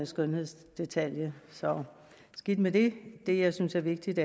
skønhedsdetalje så skidt med det det jeg synes er vigtigt